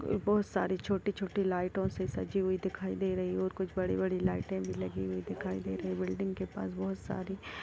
बहुत सारी छोटी-छोटी लाइटों से सजी हुई दिखाई दे रही हैऔर कुछ बड़ी-बड़ी लाइटे भी लगी हुई दिखाई दे रही है बिल्डिंग के पास बहुत सारी--